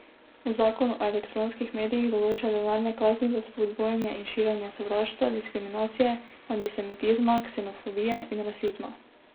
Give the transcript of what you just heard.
Zakon o elektronskih medijih določa denarne kazni za spodbujanje in širjenje sovraštva, diskriminacije, antisemitizma, ksenofobije in rasizma.